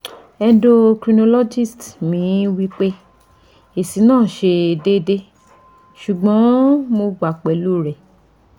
endocrinologist mi wi pe esi na se deede sugbon mo gba pelu re